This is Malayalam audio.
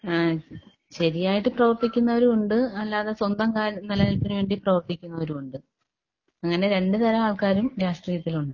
ഏഹ് ശരിയായിട്ട് പ്രവർത്തിക്കുന്നവരും ഉണ്ട്, അല്ലാതെ സ്വന്തം കാ നിലനിൽപ്പിന് വേണ്ടി പ്രവർത്തിക്കുന്നവരുമുണ്ട് അങ്ങനെ രണ്ടുതരം ആൾക്കാരും രാഷ്ട്രീയത്തിലുണ്ട്.